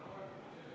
Lugupeetud ettekandja!